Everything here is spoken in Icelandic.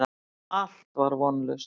Allt var vonlaust.